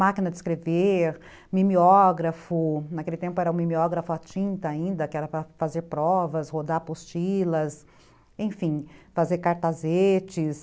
Máquina de escrever, mimeógrafo, naquele tempo era o mimeógrafo à tinta ainda, que era para fazer provas, rodar apostilas, enfim, fazer cartazetes.